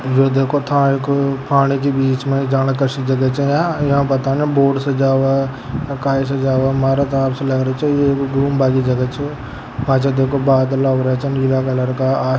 यह देखो था एक पानी के बिच में जाने कशी जगह छ ये पता न बोट से जावे काही से जावे मारे तो हिसाब से लग रही छ ये गुम्बा की जगह छ पाछे देखो बादला हो रहिया चनदीया कलर का--